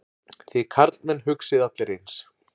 Þið karlmenn hugsið allir eins.